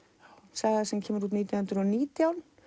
saga sem kemur út nítján hundruð og nítján